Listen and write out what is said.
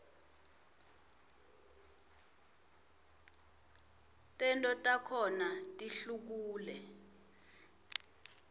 tento takhona tihlukule